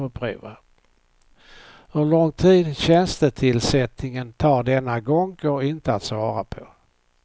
Hur lång tid tjänstetillsättningen tar denna gång går inte att svara på.